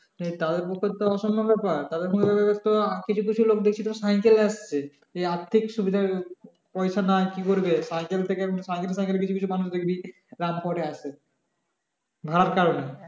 তাদের পক্ষে তো অসম্ভব ব্যাপার তাদের আর কিছু কিছু লোক দেখছি সাইকেলে আসছে এই আর্থিক সুবিধা পয়সা নাই কি করবে দাম পরে আসবে ভাড়ার কারনে